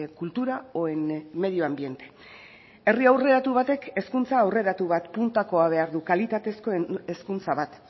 cultura o en medio ambiente herri aurreratu batek hezkuntza aurreratu bat puntakoa behar du kalitatezko hezkuntza bat